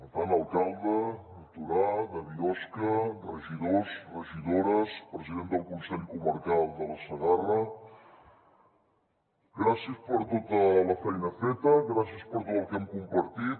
per tant alcaldes de torà de biosca regidors regidores president del consell comarcal de la segarra gràcies per tota la feina feta gràcies per tot el que hem compartit